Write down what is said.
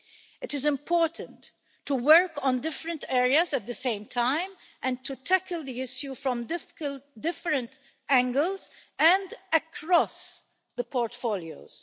It is important to work on different areas at the same time and to tackle the issue from different angles and across the portfolios.